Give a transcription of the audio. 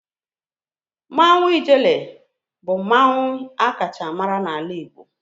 Mmanwu ijele bu mmanwu a kacha mara n'ala Igbo